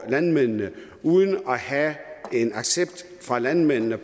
landmændene uden at have en accept fra landmændene